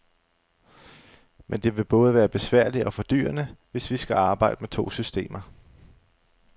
Men det vil både være besværligt og fordyrende, hvis vi skal arbejde med to systemer.